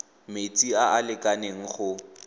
metsi a a lekaneng go